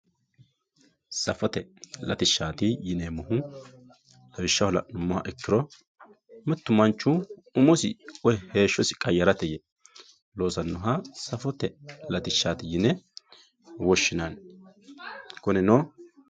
safote latishshaati yineemmohu lawishshaho la'nummoha ikkiro mittu manchu umosi woyi heeshshosi qayyarate yee loosannoha safote latishshaati yine woshshinanni kunino.